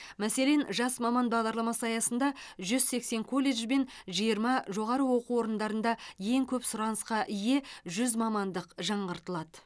мәселен жас маман бағдарламасы аясында жүз сексен колледж бен жиырма жоғары оқу орындарында ең көп сұранысқа ие жүз мамандық жаңғыртылады